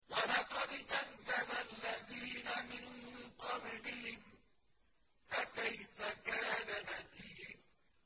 وَلَقَدْ كَذَّبَ الَّذِينَ مِن قَبْلِهِمْ فَكَيْفَ كَانَ نَكِيرِ